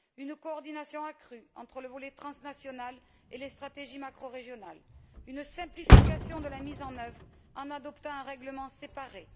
Une coordination accrue entre le volet transnational et les stratégies macrorégionales, une simplification de la mise en œuvre en adoptant un règlement séparé.